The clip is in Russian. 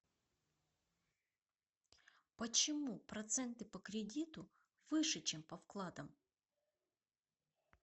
почему проценты по кредиту выше чем по вкладам